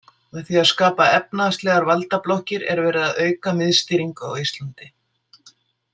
Með því að skapa efnahagslegar valdablokkir er verið að auka miðstýringu á Íslandi.